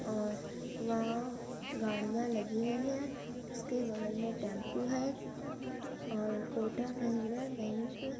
खड़िया और वहां गाड़ियां लगी हुई है उसके बगल में टेंपो है और कोटक महिंद्रा